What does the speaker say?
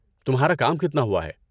تمہارا کام کتنا ہوا ہے؟